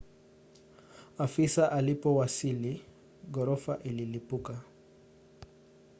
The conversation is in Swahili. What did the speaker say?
afisa alipowasili ghorofa ililipuka